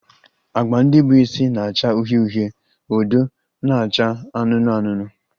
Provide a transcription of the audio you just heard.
Agba ndị bụ isi na-acha uhie uhie, odo na-acha anụnụ anụnụ